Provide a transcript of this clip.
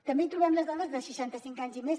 també hi trobem les dones de seixanta cinc anys i més